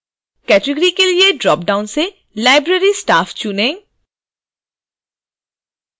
category के लिए dropdown से library staff चुनें